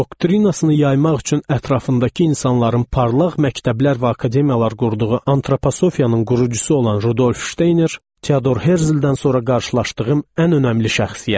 Doktrinasını yaymaq üçün ətrafındakı insanların parlaq məktəblər və akademiyalar qurduğu Antroposofiyanın qurucusu olan Rudolf Şteyner Teodor Herzldən sonra qarşılaşdığım ən önəmli şəxsiyyətdir.